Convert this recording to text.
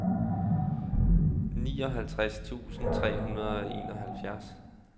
nioghalvtreds tusind tre hundrede og enoghalvfjerds